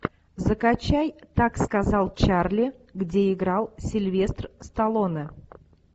закачай так сказал чарли где играл сильвестр сталлоне